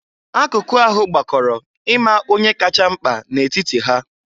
Akụkụ ahụ gbakọrọ ima onye kacha mkpa na etiti ha.